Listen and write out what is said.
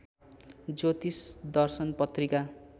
ज्योतिष दर्शन पत्रिका